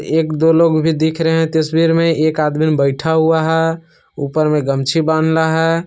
एक दो लोग भी दिख रहे हैं तस्वीर में एक आदमी बैठा हुआ है ऊपर में गमछी बंधला है।